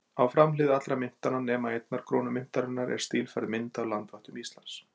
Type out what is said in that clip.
Á framhlið allra myntanna, nema einnar krónu myntarinnar, er stílfærð mynd af landvættum Íslands.